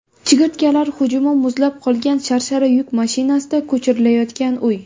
Chigirtkalar hujumi, muzlab qolgan sharshara, yuk mashinasida ko‘chirilayotgan uy.